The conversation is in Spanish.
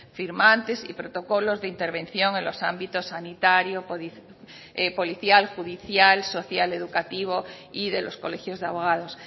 firmantes y protocolos de intervención en los ámbitos sanitario policial judicial social educativo y de los colegios de abogados